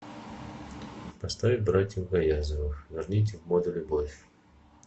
поставь братьев гаязовых верните в моду любовь